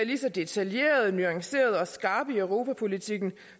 lige så detaljerede nuancerede og skarpe i europapolitikken